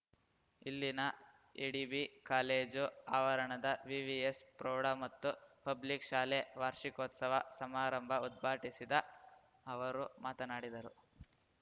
ಇಲ್ಲಿನ ADB college ಆವರಣದ VVS ಪ್ರೌಢ ಮತ್ತು ಪಬ್ಲಿಕ್‌ ಶಾಲೆ ವಾರ್ಷಿಕೋತ್ಸವ ಸಮಾರಂಭ ಉದ್ಘಾಟಿಸಿದ ಅವರು ಮಾತನಾಡಿದರು